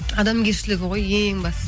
адамгершілігі ғой ең басы